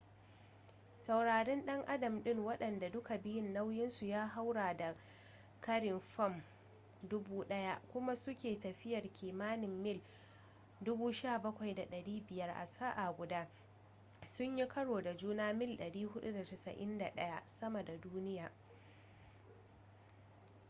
taurarin dan adam ɗin waɗanda duka biyun nauyinsu ya haura da ƙarin fam 1,000 kuma suke tafiyar kimanin mil 17,500 a sa'a guda sun yi karo da juna mil 491 sama da duniya